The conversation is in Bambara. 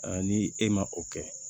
ni e ma o kɛ